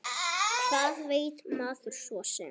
Hvað veit maður svo sem.